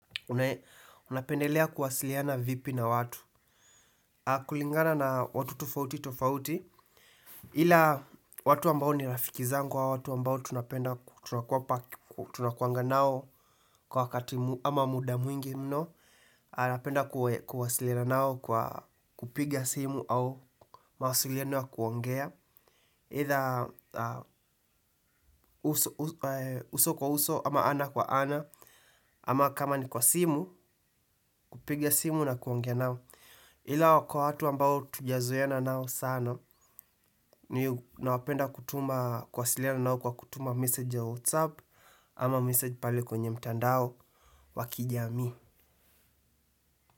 Unapendelea kuwasiliana vipi na watu? Kulingana na watu tofauti tofauti ila watu ambao ni rafiki zangu au watu ambao tunapenda tunakuanga nao kwa wakati ama muda mwingi mno napenda kuwasiliana nao kwa kupiga simu au mawasiliano ya kuongea aidha uso kwa uso ama ana kwa ana. Ama kama ni kwa simu, kupiga simu na kuongea nao. Ila kwa watu ambao hatuja zoeana nao sana ni napenda kutuma kuwasiliana nao kwa kutuma message ya WhatsApp ama message pale kwenye mtandao wa kijamii.